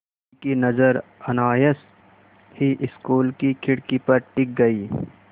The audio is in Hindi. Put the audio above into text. उनकी नज़र अनायास ही स्कूल की खिड़की पर टिक गई